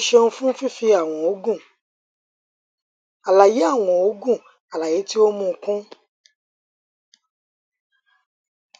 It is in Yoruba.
o ṣeun fun fifi awọn oogun alaye awọn oogun alaye ti o n mu kun